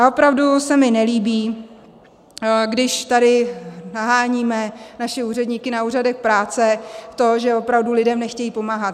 A opravdu se mi nelíbí, když tady naháníme naše úředníky na úřadech práce, to, že opravdu lidem nechtějí pomáhat.